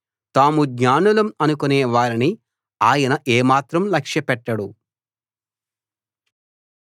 తాము జ్ఞానులం అనుకునే వారిని ఆయన ఏమాత్రం లక్ష్యపెట్టడు